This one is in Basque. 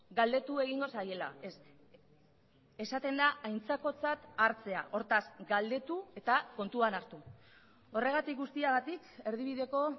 galdetu egingo zaiela esaten da aintzakotzat hartzea hortaz galdetu eta kontuan hartu horregatik guztiagatik erdibideko